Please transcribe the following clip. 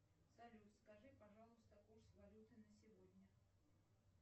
салют скажи пожалуйста курс валюты на сегодня